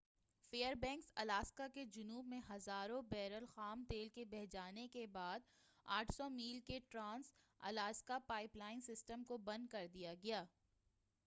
فیر banks Alaska کے جنوب میں ہزاروں بیرل خام تیل کے بہہ جانے کے بعد 800 میل کے trans Alaska pipeline system کو بند کر دیا گیا